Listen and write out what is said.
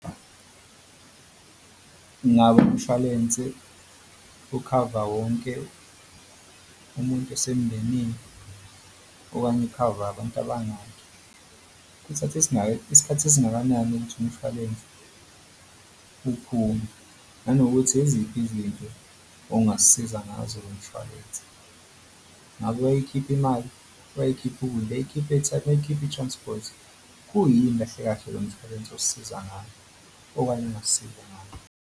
Ngabe umshwalense ukhava wonke umuntu osemndenini okanye ukhava abantu abangaki, kuthatha isikhathi esingakanani ukuthi umshwalense uphume nanokuthi eziphi izinto ongasisiza ngazo lo mshwalense. Ngabe uyayikhipha imali, uyayikhipha i-transport? Kuyinini kahle kahle lo mshwalense osisiza ngale okanye ongasisize ngako.